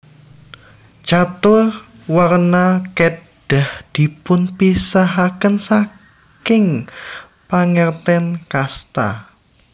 Catur Warna kedah dipunpisahaken saking pangerten kasta